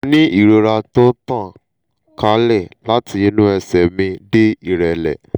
mo ní ìrora tó ń tàn kálẹ̀ láti inú ẹ̀sẹ̀ mi dé ìrẹ́lẹ̀